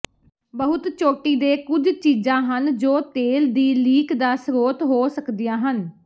ਬਹੁਤ ਚੋਟੀ ਦੇ ਕੁਝ ਚੀਜਾਂ ਹਨ ਜੋ ਤੇਲ ਦੀ ਲੀਕ ਦਾ ਸਰੋਤ ਹੋ ਸਕਦੀਆਂ ਹਨ